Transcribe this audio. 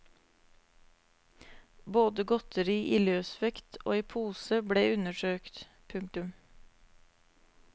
Både godteri i løs vekt og i pose ble undersøkt. punktum